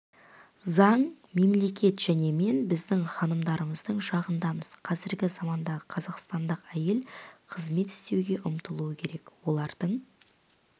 заң мемлекет және мен біздің ханымдарымыздың жағындамыз қазіргі замандағы қазақстандық әйел қызмет істеуге ұмтылуы керек олардың